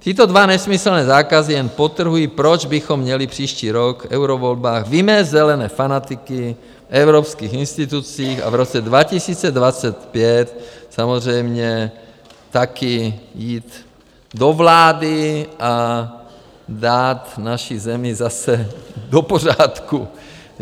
Tyto dva nesmyslné zákazy jen podtrhují, proč bychom měli příští rok v eurovolbách vymést zelené fanatiky v evropských institucích a v roce 2025 samozřejmě také jít do vlády a dát naši zemi zase do pořádku.